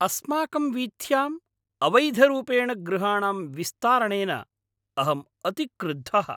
अस्माकं वीथ्याम् अवैधरूपेण गृहाणां विस्तारणेन अहम् अतिक्रुद्धः।